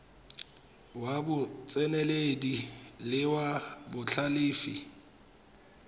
ya botseneledi le ya botlhalefi